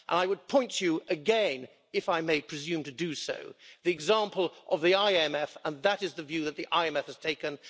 I would point you again if I may presume to do so to the example of the IMF that is the view that the IMF has taken.